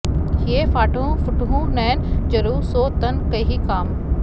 हिय फाटहुँ फूटहुँ नयन जरउ सो तन केहि काम